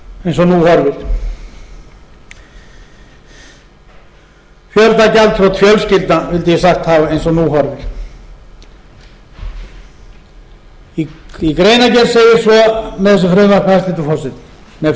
eins og nú horfir fjöldagjaldþrot fjölskyldna vildi ég sagt hafa eins og nú horfir í greinargerð segir svo með þessu frumvarpi hæstvirtur forseti með frumvarpi þessu